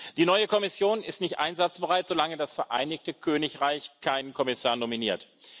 Die neue Kommission ist nicht einsatzbereit, solange das Vereinigte Königreich keinen Kommissar nominiert.